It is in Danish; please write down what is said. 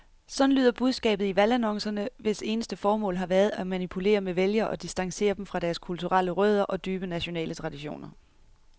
Sådan lyder budskabet i valgannoncerne, hvis eneste formål har været at manipulere med vælgere og distancere dem fra deres kulturelle rødder og dybe nationale traditioner.